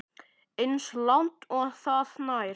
Eins langt og það nær.